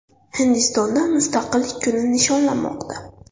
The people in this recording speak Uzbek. Hindistonda Mustaqillik kuni nishonlanmoqda.